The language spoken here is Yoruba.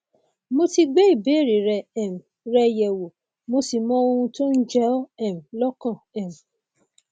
mo ti gbé ìbéèrè um rẹ yẹwò mo sì mọ ohun tó ń jẹ ọ um lọkàn um